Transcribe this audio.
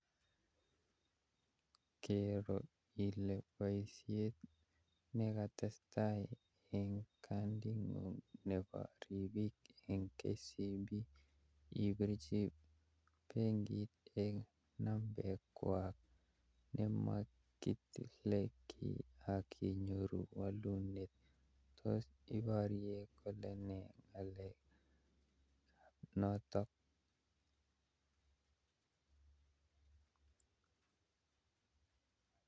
Kero ile boisiet nekatestai eng kadingung nebo rapinik eng KCB.Ipirchi benkit eng nambengwa nemakitile kiiy ak inyoru walunet. tos iporye kolene noto